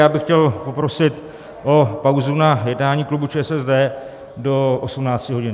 Já bych chtěl poprosit o pauzu na jednání klubu ČSSD do 18 hodin.